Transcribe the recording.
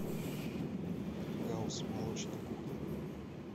гауз молочная кухня